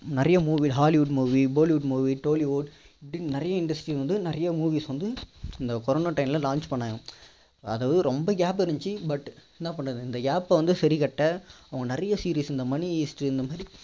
நிறைய movie hollywood movie bollywood movie tollywood இப்படின்னு நிறைய industries வந்து நிறைய movies வந்து இந்த corona time ல launch பண்ணாங்க அதாவது ரொம்ப gap இருந்துச்சு but என்ன பண்றது இந்த gap ப வந்து சரிகட்ட அவங்க நிறைய series இந்த money heist டு